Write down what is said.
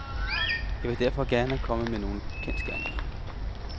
Jeg vil derfor gerne komme med nogle kendsgerninger.